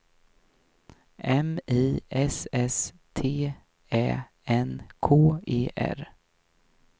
M I S S T Ä N K E R